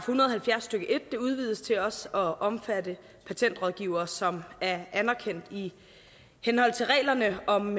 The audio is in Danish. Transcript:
hundrede og halvfjerds stykke en udvides til også at omfatte patentrådgivere som er anerkendt i henhold til reglerne om